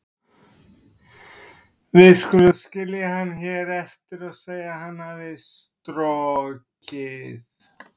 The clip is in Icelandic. Við skulum skilja hann hér eftir og segja að hann hafi strokið.